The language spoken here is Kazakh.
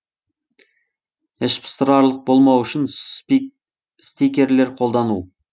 іш пыстырарлық болмау үшін стикерлер қолдану